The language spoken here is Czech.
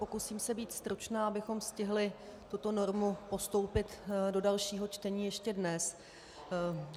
Pokusím se být stručná, abychom stihli tuto normu postoupit do dalšího čtení ještě dnes.